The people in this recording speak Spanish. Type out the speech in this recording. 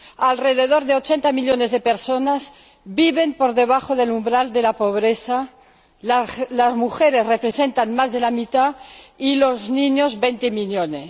Alrededor de 80 millones de personas viven por debajo del umbral de la pobreza las mujeres representan más de la mitad y los niños 20 millones.